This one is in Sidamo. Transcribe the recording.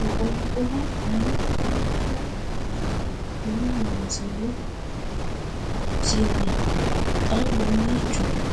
Moqonqora danna hiittoha woroonni? maa loonsanni isinno? xa mamiicho noo?